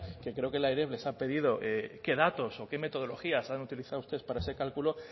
que creo que la eref les ha pedido qué datos o qué metodologías han utilizado ustedes para ese cálculo